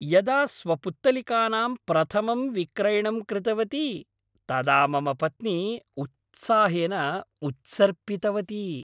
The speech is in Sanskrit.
यदा स्वपुत्तलिकानां प्रथमं विक्रयणं कृतवती तदा मम पत्नी उत्साहेन उत्सर्पितवती।